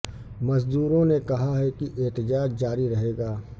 مزدوروں نے کہا ہے کہ احتجاج جاری رہے گا